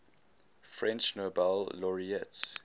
french nobel laureates